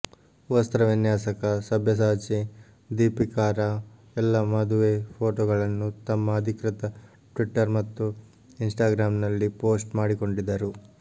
ವಸ್ತ್ರವಿನ್ಯಾಸಕ ಸಬ್ಯಸಾಚಿ ದೀಪಿಕಾರ ಎಲ್ಲ ಮದುವೆ ಫೋಟೋಗಳನ್ನು ತಮ್ಮ ಅಧಿಕೃತ ಟ್ವಿಟ್ಟರ್ ಮತ್ತು ಇನ್ ಸ್ಟಾಗ್ರಾಮ್ ನಲ್ಲಿ ಪೋಸ್ಟ್ ಮಾಡಿಕೊಂಡಿದ್ದರು